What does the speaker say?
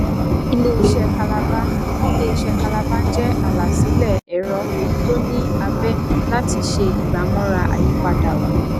iléiṣé kalaba iléiṣé kalaba jẹ alásìíle ẹrọ tó ní abé láti ṣe ìgbàmọra àyípadà òní